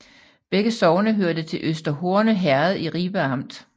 Begge sogne hørte til Øster Horne Herred i Ribe Amt